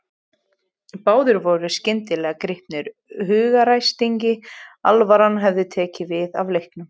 Báðir voru skyndilega gripnir hugaræsingi, alvaran hafði tekið við af leiknum.